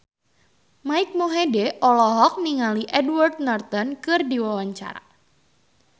Mike Mohede olohok ningali Edward Norton keur diwawancara